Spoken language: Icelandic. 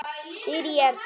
Sirrý Erla.